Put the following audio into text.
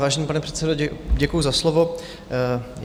Vážený pane předsedo, děkuji za slovo.